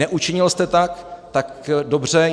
Neučinil jste tak, tak dobře.